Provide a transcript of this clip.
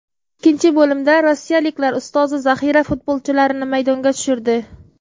Ikkinchi bo‘limda rossiyaliklar ustozi zaxira futbolchilarini maydonga tushirdi.